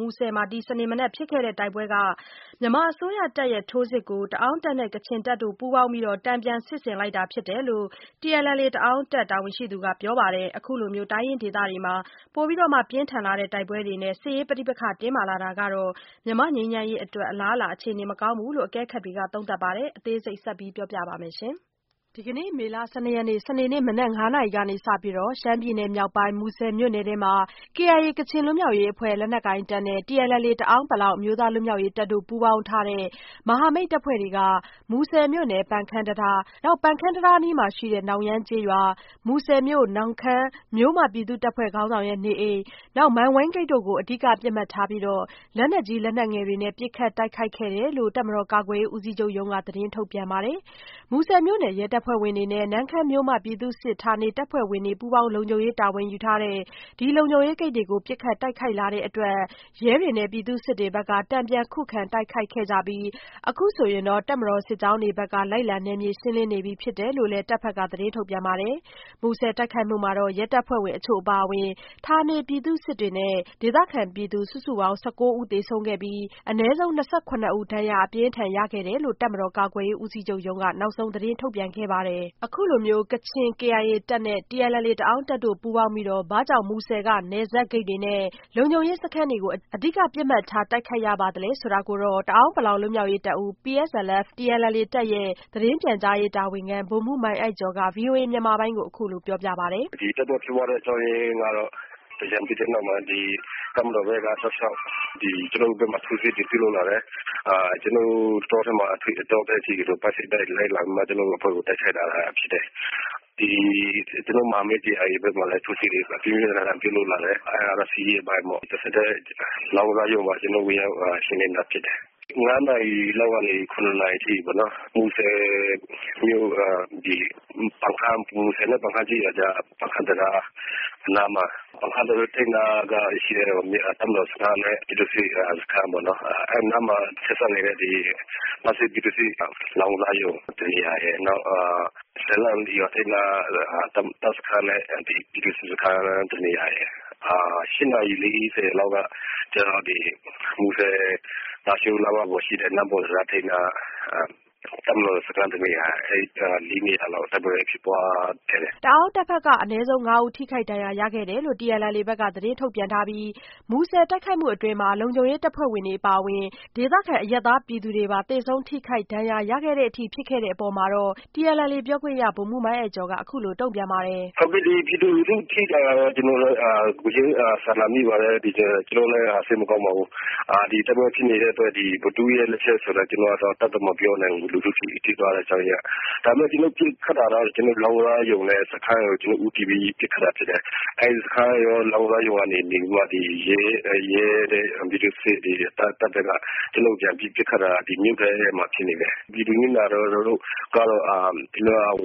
မူဆယ်မှာ ဒီစနေမနက်ဖြစ်ခဲ့တဲ့ တိုက်ပွဲကတော့ မြန်မာအစိုးရတပ်ရဲ့ ထိုးစစ်ကို တအာင်းတပ်နဲ့ကချင်တပ် ပူးပေါင်းပြီး တန်ပြန်စစ်ဆင်လိုက်တာဖြစ်တယ်လို့ TNLA တအာင်းတပ်ဘက်က ပြောပါတယ်။ အခုလိုတိုင်းရင်းဒေသတွေမှာ ပိုပြီးတောမ့ှ ပြင်းထန်လာတဲ့တိုက်ပွဲတွေနဲ့ စစ်ရေးပဋိပက္ခ တင်းမာလာတာကတော့ မြန်မာ့ငြိမ်းချမ်းရေးအတွက် အလားအလာအခြေအနေမကောင်းဘူးလို့ အကဲခတ်တွေက သုံးသပ်ပါတယ်။ အသေးစိတ် မဆုမွန် တင်ပြပေးထားပါတယ်။ ဒီနေ့ မေလ ၁၂ရက်နေ့ စနေနေ့ မနက် ၅နာရီကစပြီးတော့ ရှမ်းပြည်နယ်မြောက်ပိုင်း မူဆယ်မြို့နယ်တွင်းမှာ KIA ကချင်လွတ်မြောက်ရေးအဖွဲ့ လက်နက်ကိုင်တပ်နဲ့TNLA တအာင်း ပလောင် အမျိုးသားလွတ်မြောက်ရေးတပ်တို့ ပူးပေါင်းထားတဲ့ မဟာမိတ်အဖွဲ့ဘက်က မူဆယ်မြို့နယ် ပန်ခမ်းတံတား၊ နောက် ပန်ခမ်းတံတားအနီးက နောင်ရမ်းကျေးရွာ၊ မူဆယ်မြို့ နမ့်ခန်းမြို့မ ပြည်သူ့တပ်ဖွဲ့ခေါင်းဆောင်ရဲ့ နေအိမ်၊ မန်ဝိန်းဂိတ်တွေကို အဓိက ပစ်မှတ်ထားပြီး လက်နက်ကြီး၊ လက်နက်ငယ်တွေနဲ့ ပစ်ခတ်တိုက်ခိုက်ခဲ့တယ်လို့ တပ်မတော်ကာကွယ်ရေး ဦးစီးချုပ်ရုံးက သတင်းထုတ်ပြန်ပါတယ်။ မူဆယ်မြို့နယ် ရဲတပ်ဖွဲ့ဝင်တွေနဲ့ နမ့်ခမ်းမြို့မ ပြည်သူ့စစ် တပ်ဖွဲ့ဝင်တွေ ပူးပေါင်းလုံခြုံရေး တာဝန်ယူထားတဲ့ ဒီလုံခြုံရေးဂိတ်တွေကို ပစ်ခတ်တိုက်ခိုက်လာတဲ့အတွက် ရဲတွေနဲ့ပြည်သူ့စစ်တွေဘက်က တန်ပြန်ခုခံ တိုက်ခိုက်ခဲ့ကြပြီး အခုဆိုရင်တော့ တပ်မတော်စစ်ကြောင်းတွေဘက်က လိုက်လံနယ်မြေရှင်းလင်းနေပြီဖြစ်တယ်လို့လည်း တပ်ဘက်က သတင်း ထုတ်ပြန်ပါတယ်။ မူဆယ်တိုက်ခိုက်မှုမှာတော့ ရဲတပ်ဖွဲ့ဝင်အချို့အပါအဝင် ဌာနပြည်သူ့စစ်တွေနဲ့ ဒေသခံပြည်သူ စုစုပေါင်း ၁၉ဦး သေဆုံးခဲ့ပြီး အနည်းဆုံး ၂၇ဦး ဒဏ်ရာအပြင်းထန်ရခဲ့တယ်လို့ တပ်မတော်ကာကွယ်ရေးဦးစီးချုပ်ရုံးက နောက်ဆုံးသတင်းထုတ်ပြန်ခဲ့တာပါ။ အခုလို KIA ကချင်တပ်နဲ့ TNLA တအာင်းတပ်တွေ ပူးပေါင်းပြီး ဘာကြောင့် မူဆယ်က နယ်စပ်ဂိတ်တွေနဲ့ လုံခြုံရေးစခန်းတွေကို အဓိက ပစ်မှတ်ထား တိုက်ခိုက်ရပါသလဲဆိုတာကတော့ တအာင်းပလောင်လွတ်မြောက်ရေးတပ်ဦး PSLF/TNLA တပ်ရဲ့ သတင်းပြန်ကြားရေး တာဝန်ခံ ဗိုလ်မှူးမိုင်းအိုက်ကျော်က ဗွီအိုအေမြန်မာပိုင်းကိုပြောပြပါတယ်။ "ဒီတိုက်ပွဲဖြစ်ပွားရတဲ့အကြောင်းရင်းကတော့-သင်္ကြန်ပြီးတဲ့နောက်မှာ တပ်မတော်ဘက်က တောက်လျောက် ကျနော်တို့ကို ထိုးစစ်တွေ ပြုလုပ်လာတယ်။ ကျနော်တို့ကို တောထဲအထိ ပိုက်စိတ်တိုက် လိုက်လံပြီးတော့မှ တိုက်ခိုက်လာတာဖြစ်တယ်။ နောက် ကျနော်တို့ရဲ့ မဟာမိတ်ဖြစ်တဲ့ KIA ကိုလည်း ပြင်းပြင်းထန်ထန် တိုက်လာတယ်။ အဲ့တာကတော့ စစ်ရေးအပိုင်းပေါ့။ နောက် လောင်းကစားရုံကိုလည်း ကျနော်တို့ ဝင်ရောက်ရှင်းလင်းတယ်။ မနက် ၅နာရီကနေ ၇နာရီအထိပေါ့နော်။ မူဆယ်မြို့ နောက် ပန်ခမ်းကျေးရွာ မူဆယ်နဲ့ပန်ခမ်းကျေးရွာကြား နောက် ပန်ခမ်းတံတားအနီးမှာ ရှိတဲ့ တပ်မတော်စခန်းနဲ့ ပြည်သူ့စခန်းပေါ့နော် အဲ့နားမှာ ဆက်စပ်နေတဲ့ ပန်ခမ်းပြည်သူ့စစ်ရဲ့ လောင်းကစားရုံ။နောက် ရွာထိပ်နားက တပ်စခန်းနဲ့ ပြည်သူ့စစ်စခန်းတနေရာရယ် နောက် ၈နာရီ ၄၀လောက်က ကျနော်တို့ မူဆယ်-လားရှိုး နားမှာ ရှိတဲ့ နမ့်ပွန်တံတားထိပ်နားက တပ်မတော်စခန်းတနေရာရယ်-အဲ့လေးနေရာလောက် တိုက်ပွဲဖြစ်ပွားခဲ့တယ်။" တအာင်းတပ်ဘက်ကတော့ အနည်းဆုံးငါးဦး ထိခိုက်ဒဏ်ရာရခဲ့တယ်လို့ TNLA ဘက်က သတင်းထုတ်ပြန်ထားပြီး မူဆယ်တိုက်ခိုက်မှု အတွင်း လုံခြုံရေးတပ်ဖွဲ့တွေအပါအယင်-ဒေသခံ အရပ်သားပြည်သူတွေပါ သေဆုံးထိခိုက်ဒဏ်ရာရခဲ့ရအထိဖြစ်ခဲ့တဲ့အပေါ် TNLA ပြောခွင့်ရ ဗိုလ်မှူးမိုင်းအိုက်ကျော်ကပြောပါတယ်။ "ဟုတ်ကဲ့ အခုလို ပြည်သူလူထု ထိတာကတော့ ကျနော်တို့လည်း ကိုယ်ချင်းစာနာမိပါတယ်။ ကျနော်တို့လည်း စိတ်မကောင်းပါဘူး။ တိုက်ပွဲဖြစ်နေတဲ့အတွက် ဘယ်သူ့ရဲ့လက်ချက်ဆိုတာ ကျနော်တို့ အတပ်တော့ မပြောနိုင်ဘူး လူထုထိသွားရတဲ့အကြောင်းရင်းက။ ဒါပေမဲ့ ကျနော်တို့ပစ်ခတ်တာကတော့ လောင်းကစားရုံနဲ့ တပ်စခန်းတွေကိုဦးတည်ပြီး ပစ်ခတ်တာဖြစ်တယ်။ လောင်းကစားရုံရယ် နောက် ရဲရယ် ပြည်သူ့စစ်စခန်းတွေဘက်က ကျနော်တို့ကို ပြန်ပြီး ပစ်ခတ်တာ က မြို့ထဲမှာ ဖြစ်နေတယ်။ ပြည်သူတွေ နစ်နာတာကတော့ ကျနော်တို့